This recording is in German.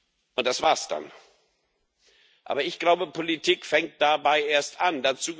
Und das war es dann. Aber ich glaube, Politik fängt dabei erst an.